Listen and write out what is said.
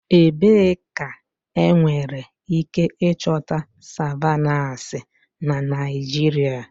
Ebee ka enwere ike ịchọta savannahs na Naịjirịa?